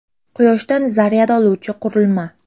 Quyoshdan zaryad oluvchi qurilma.